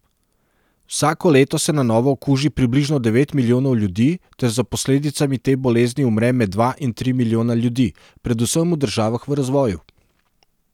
Vsako leto se na novo okuži približno devet milijonov ljudi ter za posledicami te bolezni umre med dva in tri milijona ljudi, predvsem v državah v razvoju.